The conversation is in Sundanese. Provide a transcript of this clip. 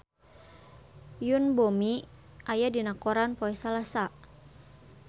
Yoon Bomi aya dina koran poe Salasa